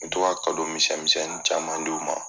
U bɛ to ka misɛn misɛnin caman di o ma